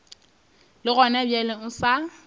le gona bjale o sa